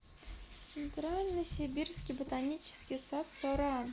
центральный сибирский ботанический сад со ран